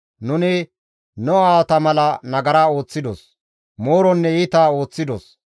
Nuni nu aawata mala nagara ooththidos; mooronne iita ooththidos.